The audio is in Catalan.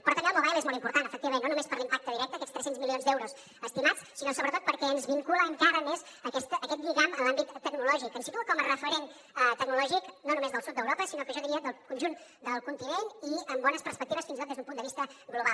però també el mobile és molt important efectivament no només per l’impacte directe aquests tres cents milions d’euros estimats sinó sobretot perquè ens vincula encara més a aquest lligam en l’àmbit tecnològic ens situa com a referent tecnològic no només del sud d’europa sinó que jo diria del conjunt del continent i amb bones perspectives fins i tot des d’un punt de vista global